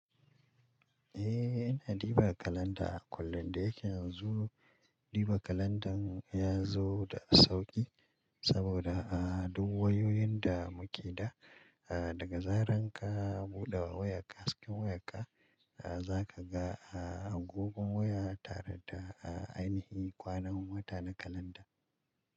Eh, ina diba kalanda a kullum da yake yanzu. Diba kalandan ya zo da sauƙi saboda a duk wayoyin da muke da, daga zaran ka buɗe wa wayarka cikin wayarka, za ka ga agogon waya tare da ainihi kwanan wata na kalanda.